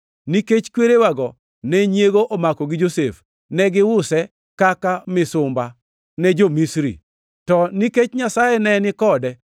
“Nikech kwerewago ne nyiego omako gi Josef, ne giuse kaka misumba ne jo-Misri. To nikech Nyasaye ne ni kode,